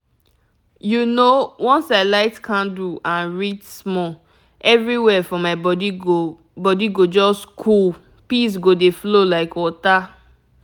you know once i light candle and read small everywhere for my body go body go just cool peace go dey flow like water.